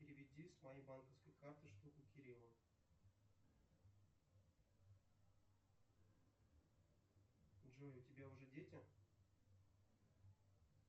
переведи с моей банковской карты штуку кириллу джой у тебя уже дети